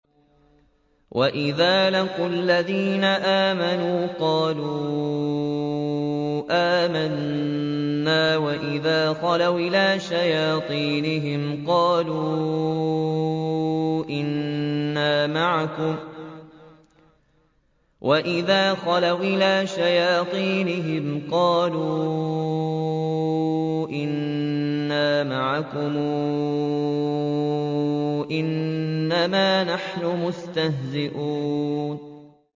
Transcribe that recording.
وَإِذَا لَقُوا الَّذِينَ آمَنُوا قَالُوا آمَنَّا وَإِذَا خَلَوْا إِلَىٰ شَيَاطِينِهِمْ قَالُوا إِنَّا مَعَكُمْ إِنَّمَا نَحْنُ مُسْتَهْزِئُونَ